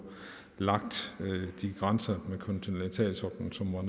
lagt de grænser med kontinentalsoklen som var